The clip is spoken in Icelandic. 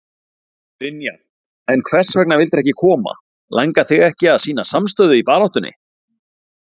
Brynja: En hvers vegna vildirðu ekki koma, langar þig ekki að sýna samstöðu í baráttunni?